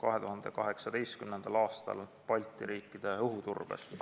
2018. aastal Balti riikide õhuturbes.